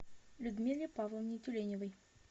людмиле павловне тюленевой